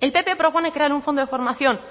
el pp propone crear un fondo de formación